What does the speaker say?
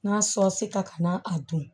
N'a sɔse ta kana a dun